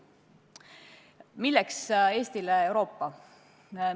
Milleks Eestile Euroopa?